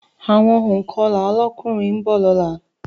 Àwọn ònkọlà lọ́kùnrin ńbọ̀ lọ́la